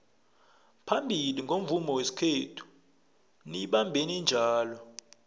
phambili ngomvumo wesikhethu niyibambeni njalo